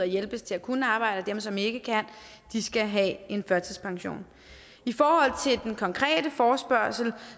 hjælp til at kunne arbejde og som ikke kan skal have en førtidspension i forhold til den konkrete forespørgsel